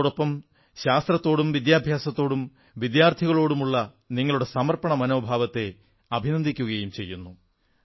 അതോടപ്പം ശാസ്ത്രത്തോടും വിദ്യാഭ്യാസത്തോടും വിദ്യാർഥിളോടുമുള്ള നിങ്ങളുടെ സമർപ്പണ മനോഭാവത്തെ അഭിനന്ദിക്കുകയും ചെയ്യുന്നു